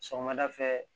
Sɔgɔmada fɛ